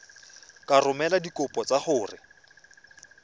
ka romela dikopo tsa gago